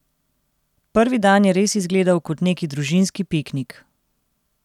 Prvi dan je res izgledal kot neki družinski piknik.